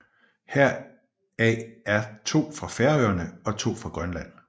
Heraf er to fra Færøerne og to fra Grønland